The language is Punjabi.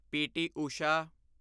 ਪ.ਟੀ. ਉਸ਼ਾ